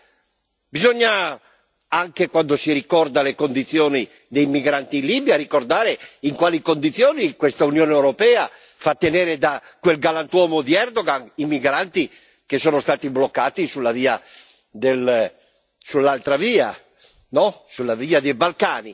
Di queste cose bisogna parlare anche quando si ricordano le condizioni dei migranti in Libia, bisogna ricordare in quali condizioni questa Unione europea fa tenere, da quel galantuomo di Erdogan, i migranti che sono stati bloccati sulla via